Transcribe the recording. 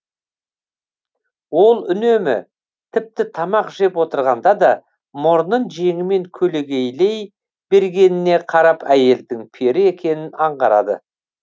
ол үнемі тіпті тамақ жеп отырғанда да мұрнын жеңімен көлегейлей бергеніне қарап әйелдің пері екенін аңғарады